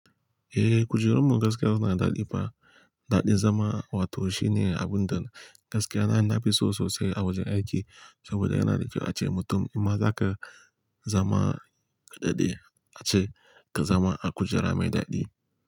Eh, kujerunmu gaskiya suna daɗi fa. Daɗin zama wato shine abun da gaskiya na nafi so sosai a wajen aiki saboda yanada kyau ace mutum inma zaka zama kaɗaɗe, ace ka zama a kujera mai daɗi.